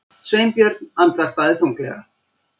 Sveinbjörn andvarpaði þunglega.